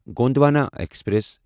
Gondwana express